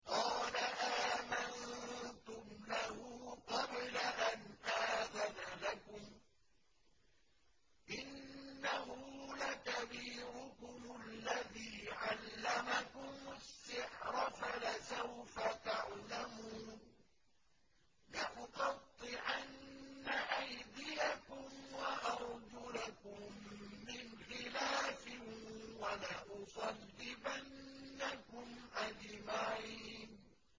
قَالَ آمَنتُمْ لَهُ قَبْلَ أَنْ آذَنَ لَكُمْ ۖ إِنَّهُ لَكَبِيرُكُمُ الَّذِي عَلَّمَكُمُ السِّحْرَ فَلَسَوْفَ تَعْلَمُونَ ۚ لَأُقَطِّعَنَّ أَيْدِيَكُمْ وَأَرْجُلَكُم مِّنْ خِلَافٍ وَلَأُصَلِّبَنَّكُمْ أَجْمَعِينَ